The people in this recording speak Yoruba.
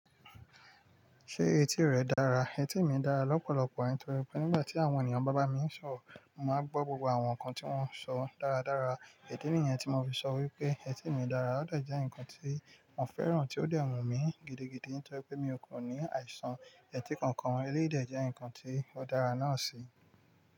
Ṣé etí rẹ dára? Etí mi dára lọ́pọ̀lọpọ̀ nítorí pé nígbà tí àwọn ènìyàn bá bá mi ń sọ̀rọ̀, mo máa n gbọ́ gbogbo àwọn nǹkan tí wọ́n ń sọ dáradára. Idi nìyẹn tí mo fi ṣọ wí pé etí mi dára, ó de jẹ́ ǹnkan tí mo fẹ́ràn tí ó dẹ̀ wú mi gidigidi nítorí pé mi ò ko ní àìsàn etí kankan, eléyìí dẹ̀ jẹ́ ǹnkan tí ó dára náà sì.